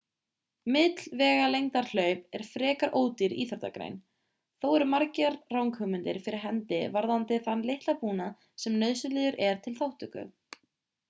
millvegalengdarhlaup er frekar ódýr íþróttagrein þó eru margar ranghugmyndir fyrir hendi varðandi þann litla búnað sem nauðsynlegur er til þátttöku